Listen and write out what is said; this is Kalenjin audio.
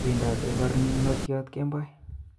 Wendote barnotyot kemoi